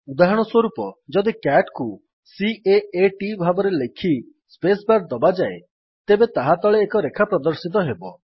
ଉଦାହରଣସ୍ୱରୁପ ଯଦି ସିଏଟି କୁ C A A -T ଭାବରେ ଲେଖି ସ୍ପେସ୍ ବାର୍ ଦବାଯାଏ ତେବେ ତାହା ତଳେ ଏକ ରେଖା ପ୍ରଦର୍ଶିତ ହେବ